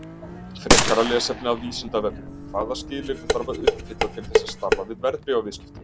Frekara lesefni af Vísindavefnum: Hvaða skilyrði þarf að uppfylla til þess að starfa við verðbréfaviðskipti?